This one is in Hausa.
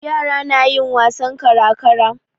Yara na yin wasan kara-kara.